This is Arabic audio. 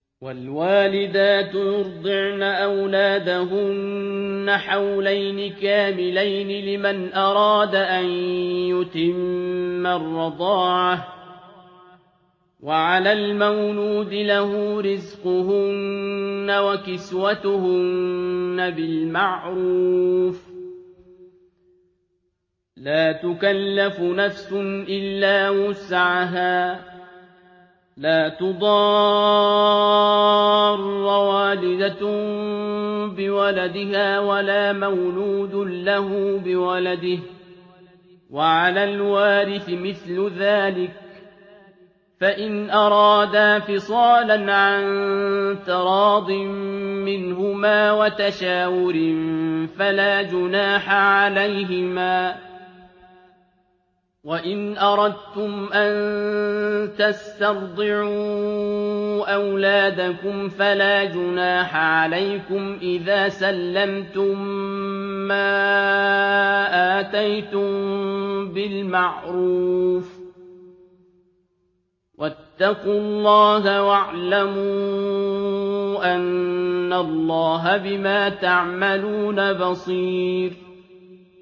۞ وَالْوَالِدَاتُ يُرْضِعْنَ أَوْلَادَهُنَّ حَوْلَيْنِ كَامِلَيْنِ ۖ لِمَنْ أَرَادَ أَن يُتِمَّ الرَّضَاعَةَ ۚ وَعَلَى الْمَوْلُودِ لَهُ رِزْقُهُنَّ وَكِسْوَتُهُنَّ بِالْمَعْرُوفِ ۚ لَا تُكَلَّفُ نَفْسٌ إِلَّا وُسْعَهَا ۚ لَا تُضَارَّ وَالِدَةٌ بِوَلَدِهَا وَلَا مَوْلُودٌ لَّهُ بِوَلَدِهِ ۚ وَعَلَى الْوَارِثِ مِثْلُ ذَٰلِكَ ۗ فَإِنْ أَرَادَا فِصَالًا عَن تَرَاضٍ مِّنْهُمَا وَتَشَاوُرٍ فَلَا جُنَاحَ عَلَيْهِمَا ۗ وَإِنْ أَرَدتُّمْ أَن تَسْتَرْضِعُوا أَوْلَادَكُمْ فَلَا جُنَاحَ عَلَيْكُمْ إِذَا سَلَّمْتُم مَّا آتَيْتُم بِالْمَعْرُوفِ ۗ وَاتَّقُوا اللَّهَ وَاعْلَمُوا أَنَّ اللَّهَ بِمَا تَعْمَلُونَ بَصِيرٌ